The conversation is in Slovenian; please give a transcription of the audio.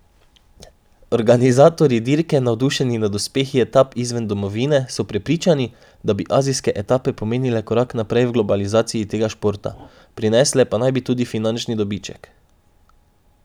Organizatorji dirke, navdušeni nad uspehi etap izven domovine, so prepričani, da bi azijske etape pomenile korak naprej v globalizaciji tega športa, prinesle pa naj bi tudi finančni dobiček.